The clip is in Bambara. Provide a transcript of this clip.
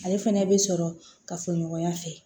Ale fɛnɛ bɛ sɔrɔ ka fɔ ɲɔgɔnya fɛ